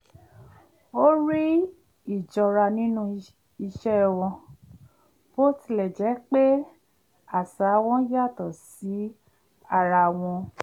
ó rí íjọra nínú ìṣe wọn bó tilẹ̀ jẹ́ pé àṣà wọn yàtọ̀ sí ara wọn